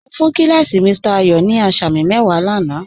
Mo fún kí làsí Mr. Ayo ní àsàmì mẹ́wà láńà.